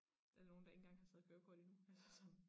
Er der nogen der ikke engang har taget kørekort endnu eller sådan